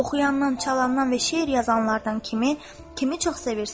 Oxuyandan, çalından və şeir yazanlardan kimi, kimi çox sevirsiz?